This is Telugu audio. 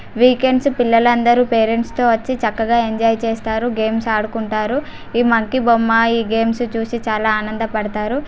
వీకెండ్స్ పిల్లలందరూ పేరెంట్స్ తో వచ్చి చక్కగా ఎంజాయ్ చేస్తారు గేమ్స్ ఆడుకుంటారు. ఈ మంకీ బొమ్మ ఈ గేమ్స్ చూసి చాలా ఆనంద పడతారు.